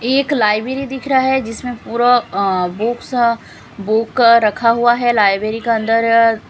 एक लाइब्रेरी दिख रहा है जिसमें पूरा बुक्स बुक रखा हुआ है लाइब्रेरी का अंदर--